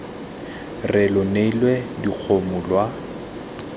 re lo neile dikgomo lwa